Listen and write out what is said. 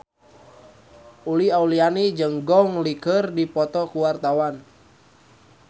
Uli Auliani jeung Gong Li keur dipoto ku wartawan